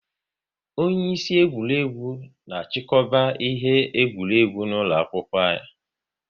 Onye isi egwuregwu na achikọba ihe egwuregwu ụlọ akwụkwọ